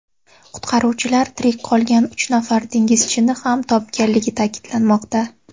Qutqaruvchilar tirik qolgan uch nafar dengizchini ham topganligi ta’kidlanmoqda.